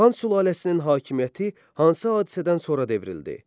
Xan sülaləsinin hakimiyyəti hansı hadisədən sonra devrildi?